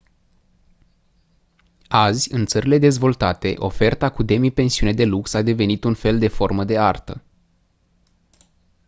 azi în țările dezvoltate oferta cu demipensiune de lux a devenit un fel de formă de artă